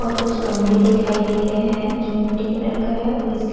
और कुछ गमले दिखाई दे रहे है जो मीठी कलर का है और इसके --